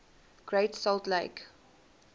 great salt lake